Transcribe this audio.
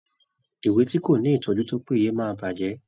Ìwé tí kò ní ìtọ́jú tó péye máa bàjẹ́.